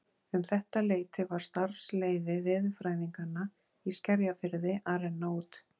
Um þetta leyti var starfsleyfi veðurfræðinganna í Skerjafirði að renna út.